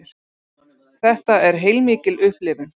Þetta er heilmikil upplifun